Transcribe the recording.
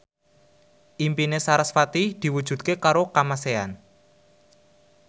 impine sarasvati diwujudke karo Kamasean